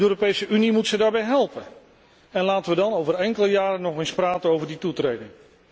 De Europese Unie moet ze daarbij helpen, en laten we dan over enkele jaren nog eens praten over die toetreding.